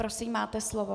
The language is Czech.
Prosím, máte slovo.